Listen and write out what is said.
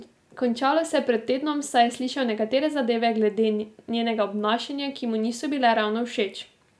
Končalo se je pred tednom, saj je slišal nekatere zadeve glede njenega obnašanja, ki mu niso bile ravno všeč.